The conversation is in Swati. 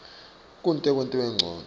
kute kwentiwe ncono